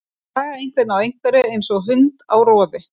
Að draga einhvern á einhverju eins og hund á roði